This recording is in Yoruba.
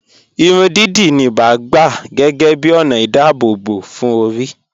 Ìrùn díídí níbà gbà géégé bí onà ìdábòbò fún orí.